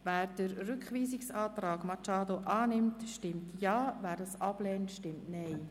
Wer den Rückweisungsantrag unterstützt, stimmt Ja, wer diesen ablehnt, stimmt Nein.